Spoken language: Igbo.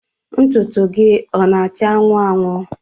Ntụtụ gị ọ na-acha anwụ anwụ?